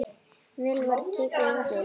Vel var tekið undir.